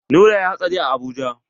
Nura yayi hatsari a Abuja.